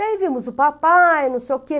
Daí vimos o papai, não sei o quê.